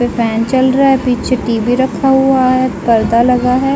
Fan चल रहा है पीछे टी०वी० (T_V) रखा हुआ है। पर्दा लगा है।